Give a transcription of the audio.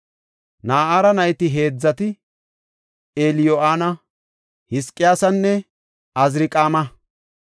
Na7ara nayti heedzati Eliyo7ana, Hizqiyaasanne Aziriqaama.